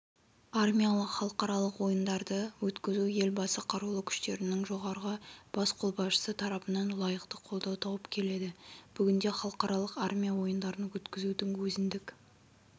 армиялық халықаралық ойындарды өткізу елбасы қарулы күштерінің жоғарғы бас қолбасшысы тарапынан лайықты қолдау тауып келеді бүгінде халықаралық армия ойындарын өткізудің өзіндік